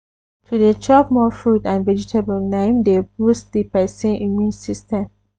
to dey chop more fruit and vegetable na im dey boost di persin immune system